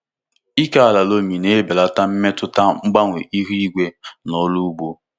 Ike ala loamy na-ebelata mmetụta mgbanwe ihu igwe n’ọrụ ugbo.